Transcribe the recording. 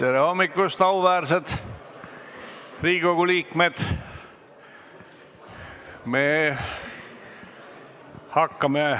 Tere hommikust, auväärsed Riigikogu liikmed!